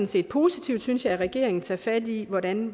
set positivt synes jeg at regeringen tager fat i hvordan